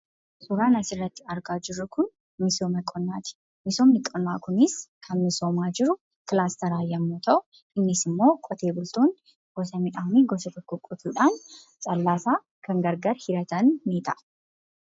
Suuraan asirratti argaa jirru kun misooma qonnaati. Misoomni qonnaa kunis kan misoomaa jiru kilaasteran yommuu ta'u, innisimmoo qotee bultoonni gosa midhaanii gosa tokko qotuudhaan callaasaa kan gargar hiratanidha.